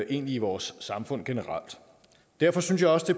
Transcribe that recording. egentlig vores samfund generelt derfor synes jeg også det